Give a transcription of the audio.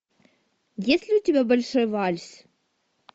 есть ли у тебя большой вальс